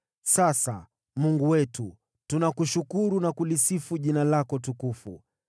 Sasa, Mungu wetu, tunakushukuru na kulisifu Jina lako tukufu.